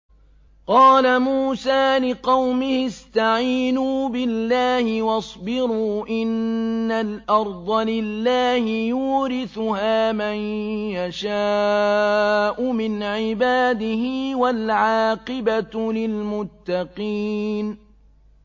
قَالَ مُوسَىٰ لِقَوْمِهِ اسْتَعِينُوا بِاللَّهِ وَاصْبِرُوا ۖ إِنَّ الْأَرْضَ لِلَّهِ يُورِثُهَا مَن يَشَاءُ مِنْ عِبَادِهِ ۖ وَالْعَاقِبَةُ لِلْمُتَّقِينَ